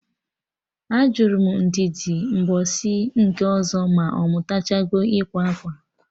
Ajụrụ m Ndidi mgbọsị nke ọzọ ma ọ mụtachago ịkwa akwa?